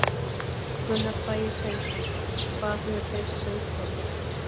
Gunnar Bragi Sveinsson: Hvað hefur breyst á Íslandi?